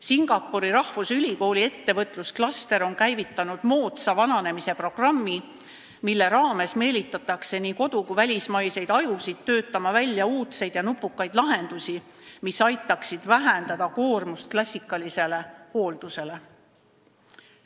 Singapuri rahvusülikooli ettevõtlusklaster on käivitanud moodsa vananemise programmi, mille raames meelitatakse nii kodu- kui ka välismaiseid ajusid töötama välja uudseid ja nupukaid lahendusi, mis aitaksid vähendada klassikalise hoolduse tekitatud koormust.